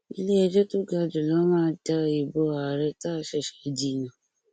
iléẹjọ tó ga jù lọ máa da ìbò ààrẹ táá ṣẹṣẹ dì nù